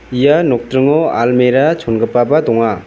ia nokdringo almera chongipaba donga.